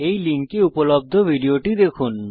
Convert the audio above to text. এই লিঙ্কে উপলব্ধ ভিডিওটি দেখুন